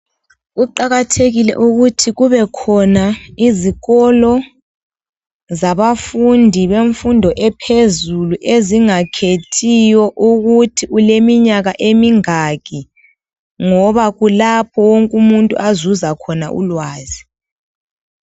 Kuqakathekile ukuthi kubekhona izikolo zabafundi bemfundo ephezulu ezingakhethiyo ukuthi ulemiminyaka emingaki ,ngoba kulapho wonke umuntu azuza khona ulwazi.